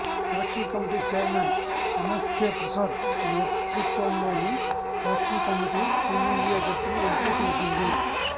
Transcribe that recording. selection committee chairman MSK Prasad నేతృత్వంలోని selection committee team India జట్టును ఎంపిక చేసింది